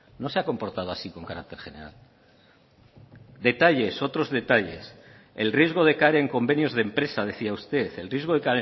no se ha comportado así con carácter general detalles otros detalles el riesgo de caer en convenios de empresa decía usted el riesgo de